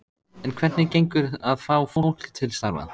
En hvernig gengur að fá fólk til starfa?